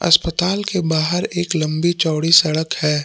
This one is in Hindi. अस्पताल के बाहर एक लंबी चौङी सड़क है।